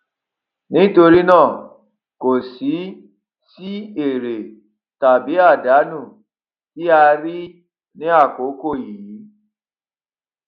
nítorí nàá kò sí sí èrè tàbí àdánù tí a rí ní àkókò yìí